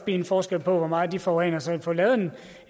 en forskel på hvor meget de forurener så man kunne få lavet en